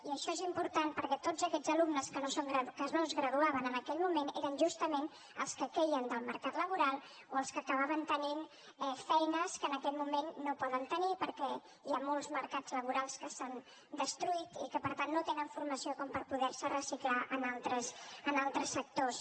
i això és important perquè tots aquests alumnes que no es graduaven en aquell moment eren justament els que queien del mercat laboral o els que acabaven tenint feines que en aquest moment no poden tenir perquè hi ha molts mercats laborals que s’han destruït i per tant no tenen formació com per poder se reciclar en altres sectors